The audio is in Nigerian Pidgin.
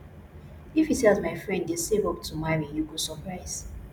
if you see as my friend dey save up to marry you go surprise